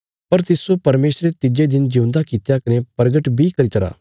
पर तिस्सो परमेशरे तिज्जे दिन ज्यूंदा कित्या कने प्रगट बी करी तरा